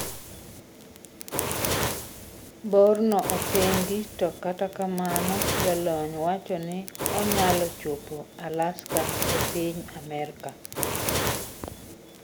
Bor no opingi to kata kamano jolony wacho ni onyalo chopo Alaska epiny Amerka